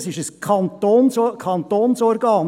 Das ist ein Kantonsorgan.